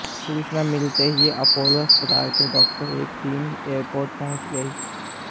सूचना मिलते ही अपोलो अस्पताल के डॉक्टर्स की एक टीम एयरपोर्ट पहुंच गई